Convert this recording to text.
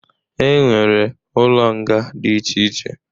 E nwere ụlọ nga dị iche iche.